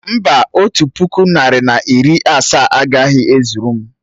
Mbà, otu puku otu narị na iri asaa agaghị e zuru m